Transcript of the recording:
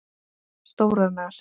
Stórar nasir.